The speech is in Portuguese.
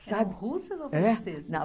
Russas ou francesas? Eh